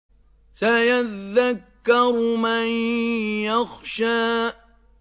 سَيَذَّكَّرُ مَن يَخْشَىٰ